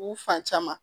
U fan caman